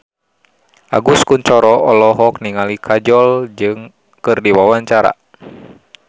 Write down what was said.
Agus Kuncoro olohok ningali Kajol keur diwawancara